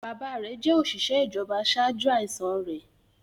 Bàbáa rẹ̀ jẹ́ òṣìṣẹ́ ìjọba ṣáájú àìsàn rẹ̀.